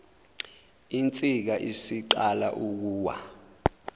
insika isiqala ukuwa